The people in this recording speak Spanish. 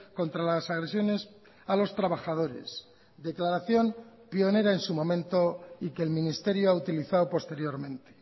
contra las agresiones a los trabajadores declaración pionera en su momento y que el ministerio ha utilizado posteriormente